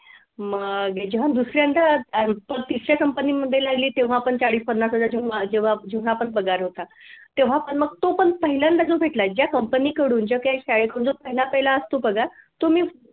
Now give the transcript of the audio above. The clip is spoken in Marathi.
मग अह मी जेव्हा दुसऱ्यांदा तिसऱ्या कंपनीमध्ये लागली तेव्हा पण चाळीस पन्नास हजाराच्या जेवढा पण पगार होता तेव्हा पण मग तो पण पहिल्यांदा भेटला ज्या कंपनी कडून जो कि आज शाळेकडून जो पहिला पहिला असतो पगार तो मी